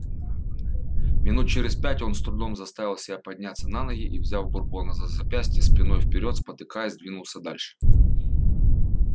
минут через пять он с трудом заставил себя подняться на ноги и взяв бурбона за запястья спиной вперёд спотыкаясь двинулся дальше